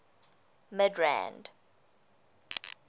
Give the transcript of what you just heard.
midrand